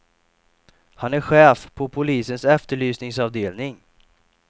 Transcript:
Han är chef på polisens efterlysningsavdelning.